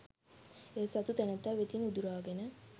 එය සතු තැනැත්තා වෙතින් උදුරාගෙන